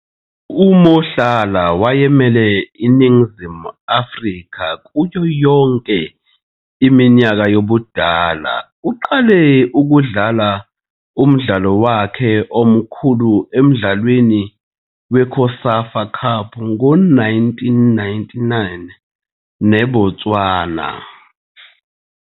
UMohlala wayemele iNingizimu Afrika kuyo yonke iminyaka yobudala. Uqale ukudlala umdlalo wakhe omkhulu emdlalweni weCOSAFA Cup ngo-1999 neBotswana.